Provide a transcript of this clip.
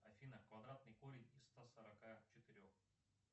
афина квадратный корень из ста сорока четырех